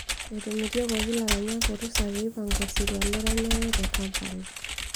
Etomitiokoki laranyak orusa pee eipanga osirua leranyare te Kampala.